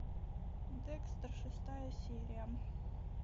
декстер шестая серия